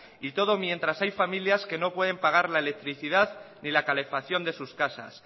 y todo mientras hay familias que no pueden pagar la electricidad ni la calefacción de sus casas